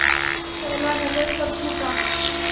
कि पहला नगर कब छूटा